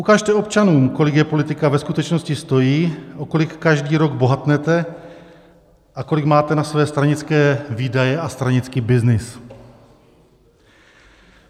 Ukažte občanům, kolik je politika ve skutečnosti stojí, o kolik každý rok bohatne a kolik máte na své stranické výdaje a stranický byznys.